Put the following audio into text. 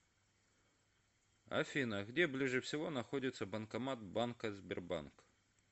афина где ближе всего находится банкомат банка сбербанк